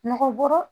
Nɔgɔ bɔra